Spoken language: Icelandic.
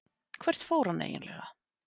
Hvert fór hann svo eiginlega?